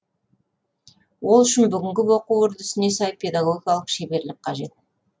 ол үшін бүгінгі оқу үрдісіне сай педагогикалық шеберлік қажет